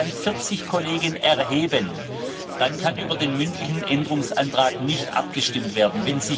Und wenn sich dann 40 Kollegen erheben, dann kann über den mündlichen Änderungsantrag nicht abgestimmt werden.